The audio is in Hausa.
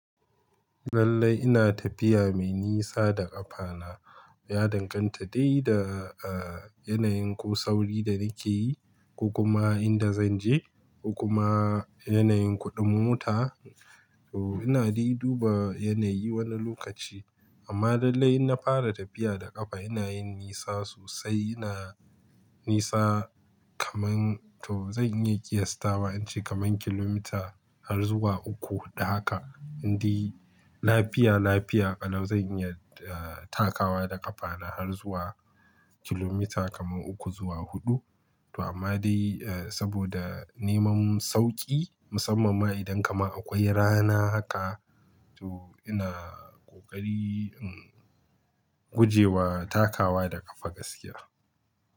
Lallai ina tafiya me nisa da ƙafa na. Ya danganta dai da, ah, yanayin ko sauri da nake yi ko kuma inda zan je ko kuma yanayin kuɗin mota. To ina dai duba yanayi wani lokaci. Amma lallai in na fara tafiya da ƙafa ina yin nisa sosai. Ina nisa kaman to zan iya ƙiyastawa ince kaman kilomita har zuwa uku hudu haka. Indai lafiya lafiya, ƙalau zan iya, eh, takawa da ƙafa na har zuwa kilomita kaman uku zuwa huɗu. To amma dai, eh, saboda neman sauƙi musamman ma idan kama akwai rana haka to ina ƙoƙari, hmm, guje wa takawa da ƙafa gaskiya.